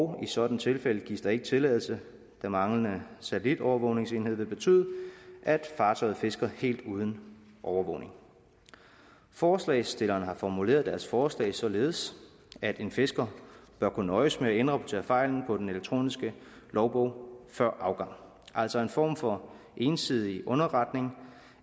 og i sådanne tilfælde gives der ikke tilladelse den manglende satellitovervågningsenhed vil betyde at fartøjet fisker helt uden overvågning forslagsstillerne har formuleret deres forslag således at en fisker bør kunne nøjes med at indrapportere fejlen på den elektroniske logbog før afgang altså en form for ensidig underretning